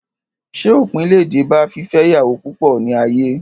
Ṣé òpin le dé bá fífẹ́ ìyàwó púpọ̀ ní ayé?